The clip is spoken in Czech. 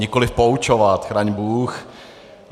Nikoliv poučovat, chraň bůh.